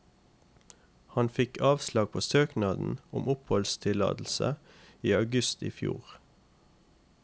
Han fikk avslag på søknaden om oppholdstillatelse i august i fjor.